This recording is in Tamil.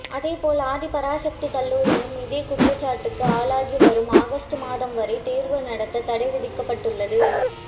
அதேபோல் ஆதி பராசக்தி கல்லூரியும் இதே குற்றச்சாட்டுக்கு ஆளாகி வரும் ஆகஸ்ட் மாதம் வரை தேர்வு நடத்த தடை விதிக்கப்பட்டுள்ளது